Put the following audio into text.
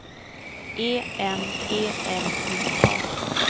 E M E L I A